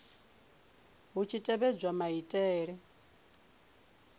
hu tshi khou tevhedzwa maitele